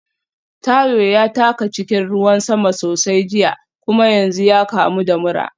Tayo ya taka cikin ruwan sama sosai jiya kuma yanzu ya kamu da mura.